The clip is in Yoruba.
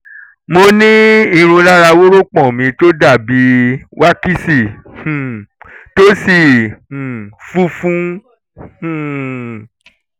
mo ní irun lára wórópọ̀n mi tó dàbí wákísì um tó sì um funfun um